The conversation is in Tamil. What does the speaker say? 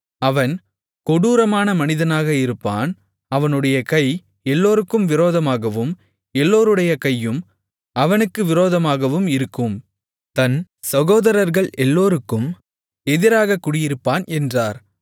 அவன் கொடூரமான மனிதனாக இருப்பான் அவனுடைய கை எல்லோருக்கும் விரோதமாகவும் எல்லோருடைய கையும் விரோதமாகவும் இருக்கும் தன் சகோதரர்கள் எல்லோருக்கும் எதிராகக் குடியிருப்பான் என்றார்